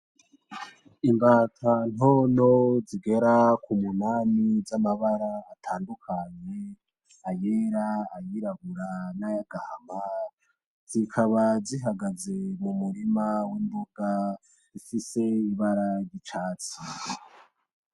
Imbata ntonto zigera k'umunani z'amabara atandukanye ayera, ayirabura, nay'agahama zikaba zihagaze m'umurima w'imboga ifise ibara ryicatsi.